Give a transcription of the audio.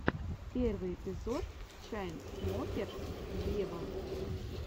первый эпизод чайнсмокерс вево